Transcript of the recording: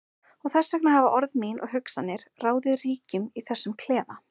Og þess vegna hafa orð mín og hugsanir ráðið ríkjum í þessum klefa.